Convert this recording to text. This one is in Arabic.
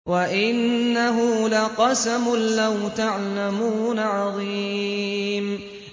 وَإِنَّهُ لَقَسَمٌ لَّوْ تَعْلَمُونَ عَظِيمٌ